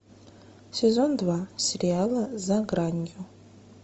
сезон два сериала за гранью